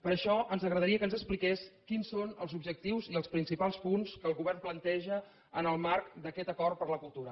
per això ens agradaria que ens expliqués quins són els objectius i els principals punts que el govern planteja en el marc d’aquest acord per la cultura